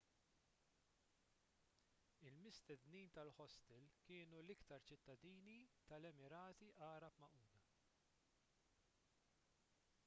il-mistednin tal-ħostel kienu l-iktar ċittadini tal-emirati għarab magħquda